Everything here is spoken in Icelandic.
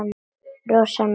Rosa næs.